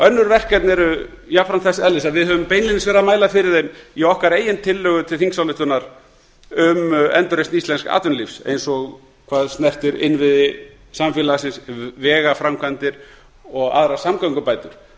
önnur verkefni eru jafnframt þess eðlis að við höfum beinlínis mælt fyrir þeim í okkar eigin tillögu til þingsályktunar um endurreisn íslensks atvinnulífs eins og hvað snertir innviði samfélagsins vegaframkvæmdir og aðrar samgöngubætur